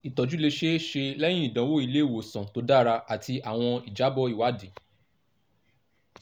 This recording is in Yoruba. itọju le ṣee ṣe lẹhin idanwo ile-iwosan to dara ati awọn ijabọ iwadii